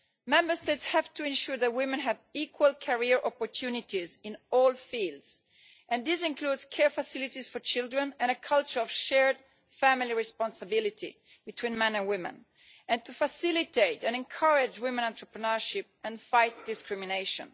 Member States have to ensure that women have equal career opportunities in all fields, and this includes care facilities for children and a culture of shared family responsibility between men and women, to facilitate and encourage women entrepreneurship and to fight discrimination.